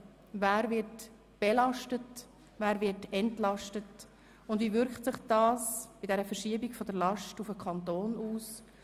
Wer wird belastet, wer wird entlastet, und wie wirkt sich das bei der Verschiebung dieser Last auf den Kanton aus?